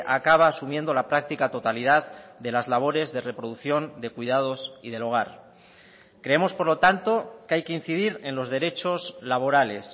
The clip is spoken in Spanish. acaba asumiendo la práctica totalidad de las labores de reproducción de cuidados y del hogar creemos por lo tanto que hay que incidir en los derechos laborales